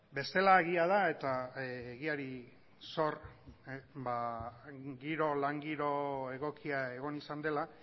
bestela egia da eta egiari zor giro lan giro egokia egon izan dela